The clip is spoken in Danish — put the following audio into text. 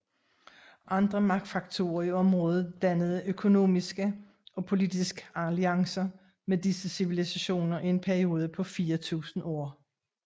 Andre magtfaktorer i området dannede økonomiske og politisk alliancer med disse civilisationer i en periode på 4000 år